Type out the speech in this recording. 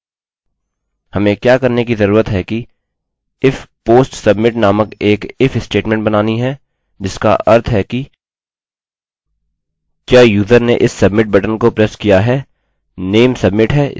हमें क्या करने की जरूरत है कि if post submit नामक एक if स्टेटमेंट बनानी है जिसका अर्थ है कि क्या यूज़र ने इस submit बटन को प्रेस किया है नाम submit है इसलिए यहाँ हमें submit लिखा मिलता है